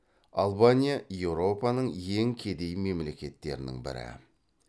албания еуропаның ең кедей мемлекеттерінің бірі